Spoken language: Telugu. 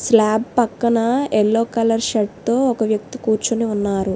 స్లాబ్ పక్కన ఎల్లో కలర్ షర్టు ఒక వ్యక్తి కూర్చొని ఉన్నారు.